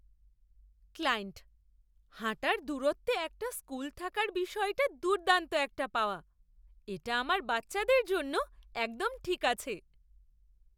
Client হাঁটার দূরত্বে একটা স্কুল থাকার বিষয়টা দুর্দান্ত একটা পাওয়া। এটা আমার বাচ্চাদের জন্য একদম ঠিক আছে।